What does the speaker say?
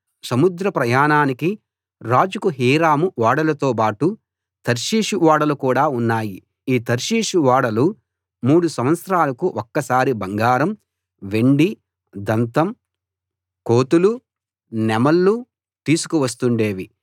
సముద్ర ప్రయాణానికి రాజుకు హీరాము ఓడలతోబాటు తర్షీషు ఓడలు కూడా ఉన్నాయి ఈ తర్షీషు ఓడలు మూడు సంవత్సరాలకు ఒకసారి బంగారం వెండి దంతం కోతులు నెమళ్ళు తీసుకు వస్తుండేవి